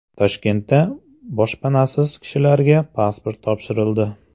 Toshkentda boshpanasiz kishilarga pasport topshirildi.